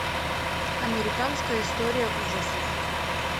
американская история ужасов